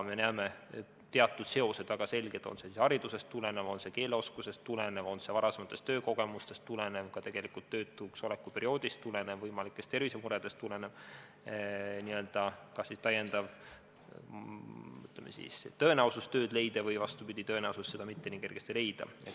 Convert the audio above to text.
Me näeme, et teatud seosed on väga selged, on see siis haridusest tulenev, keeleoskusest, varasemast töökogemusest või tegelikult ka töötu oleku perioodist tulenev, samuti võimalikest tervisemuredest tulenev tõenäosus tööd leida või tõenäosus seda mitte nii kergesti leida.